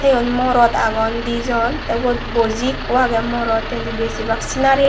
eyot morot agon dijon teh ubot boji eko aage morot hintu besibak senari.